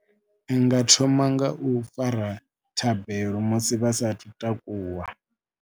Ndi nga thoma nga u fara thabelo musi vha saathu takuwa.